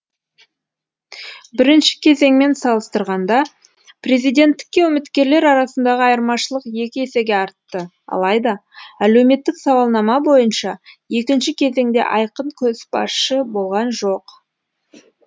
бірінші кезеңмен салыстырғанда президенттікке үміткерлер арасындағы айырмашылық екі есеге артты алайда әлеуметтік сауалнама бойынша екінші кезеңде айқын көшбасшы болған жоқ